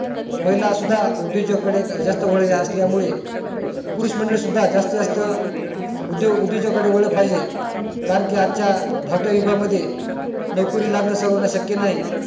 महिला सुद्धा उदयोजक का कडे जास्त वाळलेल्या असल्या मुळे पुरुष मंडळी सुद्धा जास्तीत उदोग उदोजाका कडे वळ पाहिजे कारण कि आज च्या धावत्या युगा मध्ये नोकरी लागण सर्वाना लागण शक्य नाही